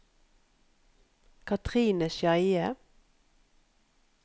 Katrine Skeie